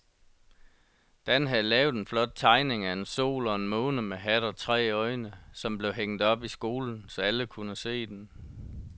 Dan havde lavet en flot tegning af en sol og en måne med hat og tre øjne, som blev hængt op i skolen, så alle kunne se den.